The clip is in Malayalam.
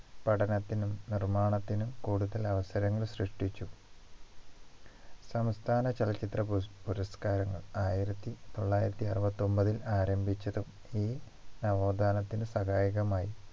പഠനത്തിനും നിർമ്മാണത്തിനും കൂടുതൽ അവസരങ്ങൾ സൃഷ്ടിച്ചു സംസ്ഥാന ചലച്ചിത്ര പുര പുരസ്കാരങ്ങൾ ആയിരത്തി തൊള്ളായിരത്തി അറുപത്തി ഒമ്പതിൽ ആരംഭിച്ചതും ഈ നവോത്ഥാനത്തിന് സഹായകമായി